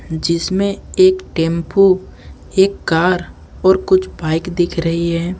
जिसमें एक टेंपो एक कार और कुछ बाइक दिख रही है।